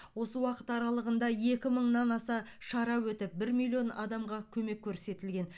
осы уақыт аралығында екі мыңнан аса шара өтіп бір миллион адамға көмек көрсетілген